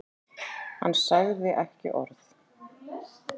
Hann sagði ekki orð.